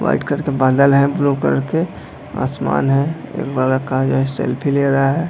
White colour के बदला है ब्लू कलर के आसमान है एक लड़का जो है सेल्फी ले रहा है।